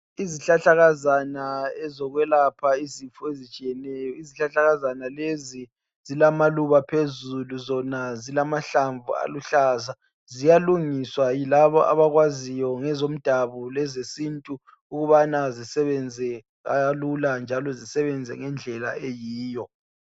Izihlahlakazana ezokwelapha izifo ezitshiyeneyo. Izihlahlakazana lezi zilamaluba phezulu zona zilamahlamvu aluhlaza. Ziyalungiswa yilaba abakwaziyo ngezomdabu lezesintu ukubana zisebenze kalula zisebenze ngendlela eyiyo.